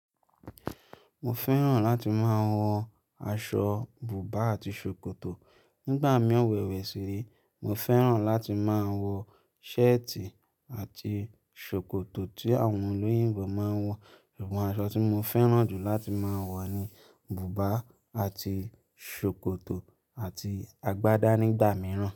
Mo fẹ́ràn láti máa wọ aṣọ bùbá àti ṣòkòtò. Nígbà mí e wẹ̀wẹ̀ síré, mo fẹ́ràn láti máa wọ ṣẹ́ẹ̀tì àti ṣòkòtò tí àwọn olóyìnbó máa ń wọ. Ẹ̀bùn aṣọ tí mo fẹ́ràn jù láti máa wọ ni bùbá àti ṣòkòtò àti àgbádá nígbà mìíràn.